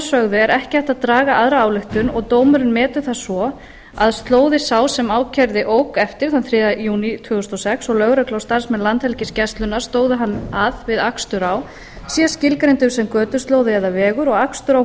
sögðu er ekki hægt að draga aðra ályktun og dómurinn metur það svo að slóði sá sem ákærði ók eftir þann þriðja júní tvö þúsund og sex og lögregla og starfsmenn landhelgisgæslunnar stóðu hann að við akstur á sé tilgreindur sem götuslóði eða vegur og akstur á